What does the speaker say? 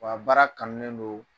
A baara kanunen don